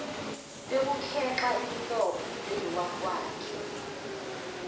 kokukhexa imilomo benowakwakhe